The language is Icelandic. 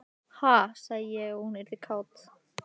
Ha, sagði ég að hún yrði kát?